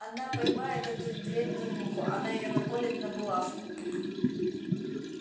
она поймает эту вредную муху она её наколет на булавку